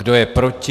Kdo je proti?